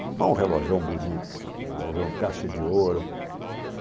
Mas é um relógio bonito, sô, relojão caixa de ouro, né?